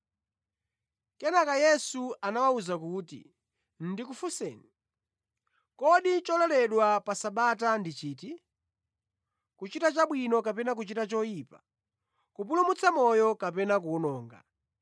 Kenaka Yesu anawawuza kuti, “Ndikufunseni, kodi chololedwa pa Sabata ndi chiti: kuchita chabwino kapena kuchita choyipa, kupulumutsa moyo kapena kuwononga?”